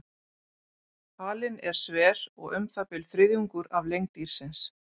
Halinn er sver og um það bil þriðjungur af lengd dýrsins.